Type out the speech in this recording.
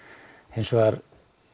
hins vegar